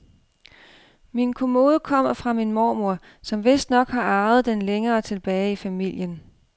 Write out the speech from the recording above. Min kommode kommer fra min mormor, som vistnok har arvet den længere tilbage i familien.